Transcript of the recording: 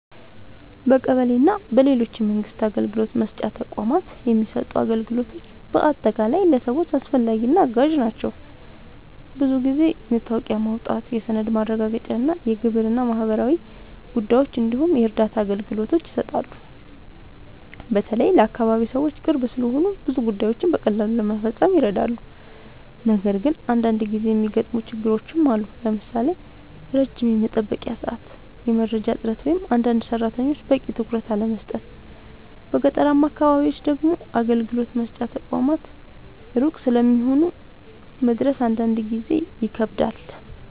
በቀበሌ እና በሌሎች የመንግስት አገልግሎት መስጫ ተቋማት የሚሰጡ አገልግሎቶች በአጠቃላይ ለሰዎች አስፈላጊ እና አጋዥ ናቸው። ብዙ ጊዜ የመታወቂያ ማውጣት፣ የሰነድ ማረጋገጫ፣ የግብር እና ማህበራዊ ጉዳዮች እንዲሁም የእርዳታ አገልግሎቶች ይሰጣሉ። በተለይ ለአካባቢ ሰዎች ቅርብ ስለሆኑ ብዙ ጉዳዮችን በቀላሉ ለመፈጸም ይረዳሉ። ነገር ግን አንዳንድ ጊዜ የሚገጥሙ ችግሮችም አሉ፣ ለምሳሌ ረጅም የመጠበቂያ ሰዓት፣ የመረጃ እጥረት ወይም አንዳንድ ሰራተኞች በቂ ትኩረት አለመስጠት። በገጠራማ አካባቢዎች ደግሞ አገልግሎት መስጫ ተቋማት ሩቅ ስለሚሆኑ መድረስ አንዳንድ ጊዜ ይከብዳል።